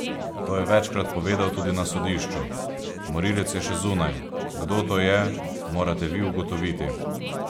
To je večkrat povedal tudi na sodišču: "Morilec je še zunaj, kdo to je, morate vi ugotoviti.